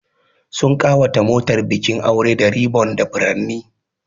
Sun ƙawata motar bikin aure da ribbon da furanni.